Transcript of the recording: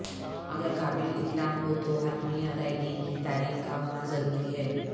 اگر قابل اطلاق ہو تو حتمی ادائیگی کی تاریخ کا ہونا ضروری ہے